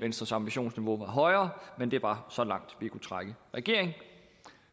venstres ambitionsniveau højere men det var så langt vi kunne trække regeringen